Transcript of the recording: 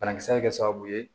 Banakisɛ bɛ kɛ sababu ye